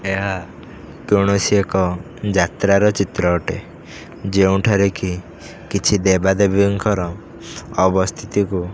ଏହା କୌଣସି ଏକ ଯାତ୍ରର ଚିତ୍ର ଅଟେ ଯେଉଁଠାରେକି କିଛି ଦେବା ଦେବୀଙ୍କର ଅବସ୍ଥିତି କୁ --